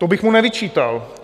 To bych mu nevyčítal.